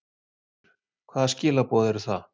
Höskuldur: Hvaða skilaboð eru það?